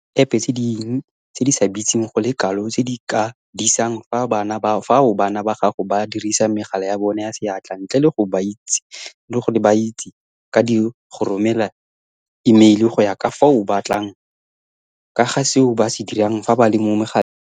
Go na le diepe tse dingwe tse di sa bitseng go le kalo tse di ka disang ka fao bana ba gago ba dirisang megala ya bona ya seatla ntle le gore ba itse ka di go romela imeile go ya ka fao o batlang ka ga seo ba se dirang fa ba le mo megaleng.